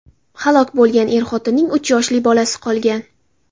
Halok bo‘lgan er-xotinning uch yoshli bolasi qolgan.